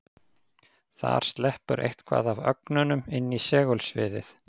Þar sleppur eitthvað af ögnunum inn í segulsviðið.